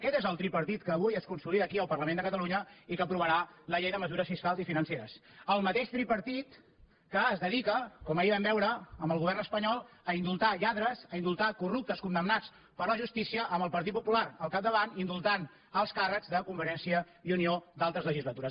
aquest és el tripartit que avui es consolida aquí al parlament de catalunya i que aprovarà la llei de mesures fiscals i financeres el mateix tripartit que es dedica com ahir vam veure amb el govern espanyol a indultar lladres a indultar corruptes condemnats per la justícia amb el partit popular al capdavant indultant alts càrrecs de convergència i unió d’altres legislatures